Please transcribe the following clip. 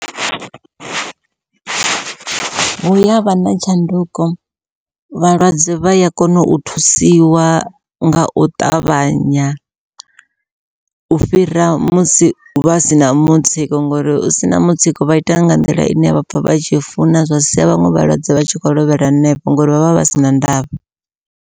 Hu yavha na tshanduko vhalwadze vha ya kona u thusiwa ngau ṱavhanya, u fhira musi vha sina mutsiko ngori u sina mutsiko vha ita nga nḓila ine vha pfha vha tshi funa, zwa sia vhaṅwe vhalwadze vha tshi kho lovhela hanefho ngori vhavha vha sina ndavha.